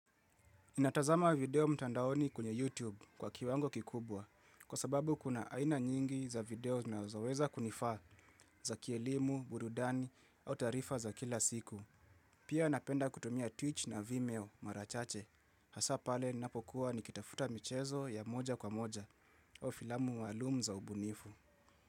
Natazama video mtandaoni kwenye YouTube kwa kiwango kikubwa, kwa sababu kuna aina nyingi za video nazoweza kunifaa za kielimu, burudani au taarifa za kila siku. Pia napenda kutumia Twitch na Vimeo mara chache. Hasa pale napokuwa nikitafuta michezo ya moja kwa moja, au filamu maalum za ubunifu.